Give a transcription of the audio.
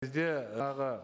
бізде тағы